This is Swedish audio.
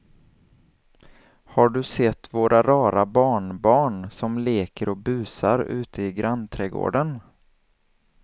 Har du sett våra rara barnbarn som leker och busar ute i grannträdgården!